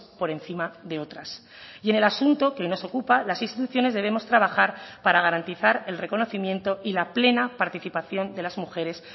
por encima de otras y en el asunto que hoy nos ocupa las instituciones debemos trabajar para garantizar el reconocimiento y la plena participación de las mujeres